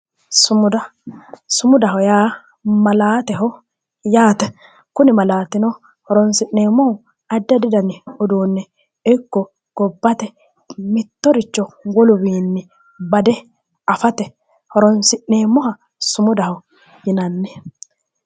sumuda sumudaho yaa malaateho kuni malaatino horonsi'neemmohu addi addi dani uduunne ikko gobbate giddo wolu manni bade afate horoonsi'neemmoha sumudaho yinanni.